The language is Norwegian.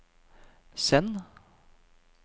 send